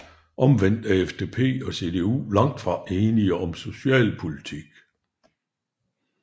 Omvendt er FDP og CDU langt fra enige om socialpolitik